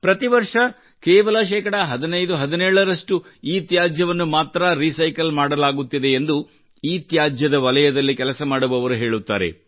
ಪ್ರತಿ ವರ್ಷ ಕೇವಲ ಶೇಕಡಾ 1517 ರಷ್ಟು ಇತ್ಯಾಜ್ಯವನ್ನು ಮಾತ್ರಾ ರೀಸೈಕಲ್ ಮಾಡಲಾಗುತ್ತಿದೆ ಎಂದು ಇತ್ಯಾಜ್ಯದ ವಲಯದಲ್ಲಿ ಕೆಲಸ ಮಾಡುವವರು ಹೇಳುತ್ತಾರೆ